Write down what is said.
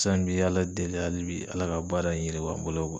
San bi Ala deli halibi Ala ka baara in yiriwa n bolo .